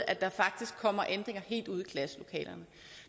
at der faktisk kommer ændringer helt ud i klasselokalerne